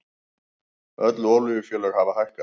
Öll olíufélög hafa hækkað